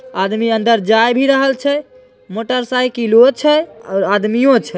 आदमी अंदर जायल भी रहल छे मोटर साइकिल वो छे।